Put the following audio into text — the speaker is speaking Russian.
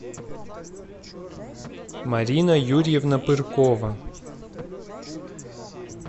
марина юрьевна пыркова